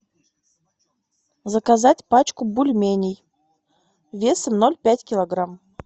заказать пачку бульменей весом ноль пять килограмм